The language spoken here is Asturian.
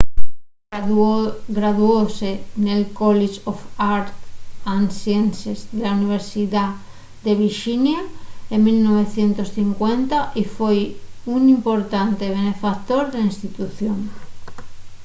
graduóse nel college of arts & sciences de la universidá de virxinia en 1950 y foi un importante benefactor de la institución